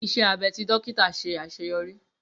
Iṣẹ abẹ ti dókítà ṣe aṣeyọri.